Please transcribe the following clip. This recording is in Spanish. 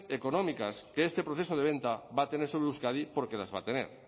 económicas que este proceso de venta va a tener sobre euskadi porque las va a tener